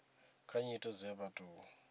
kha nyito dze vha tou